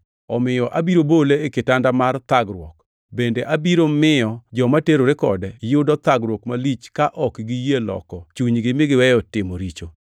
Omiyo abiro bole e kitanda mar thagruok bende abiro miyo joma terore kode yudo thagruok malich ka ok giyie loko chunygi mi giweyo timo richo.